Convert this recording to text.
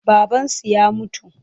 Babansu ya mutu.